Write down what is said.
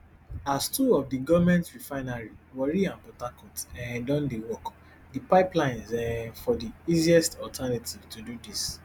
as two of di goment refineries warri and port harcourt um don dey work di pipelines um for be di easiest alternative to do dis